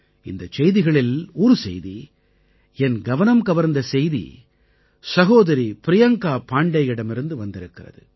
இந்தச் செய்திகளில் ஒரு செய்தி என் கவனம்கவர்ந்த செய்தி சகோதரி ப்ரியங்கா பாண்டேயிடமிருந்து வந்திருக்கிறது